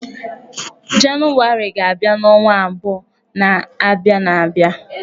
Janụwarị ga-abia n'ọnwa abụo na-abịan abịa.